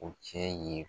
O cɛ ye